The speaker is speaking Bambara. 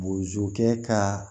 Bozokɛ ka